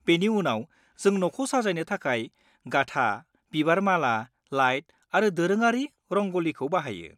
बेनि उनाव जों न'खौ साजायनो थाखाय गाथा, बिबार माला, लाइट आरो दोरोङारि रंग'लिखौ बाहायो।